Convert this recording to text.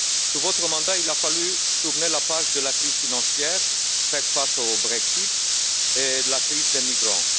Sous votre mandat, il a fallu tourner la page de la crise financière, faire face au Brexit et à la crise des migrants.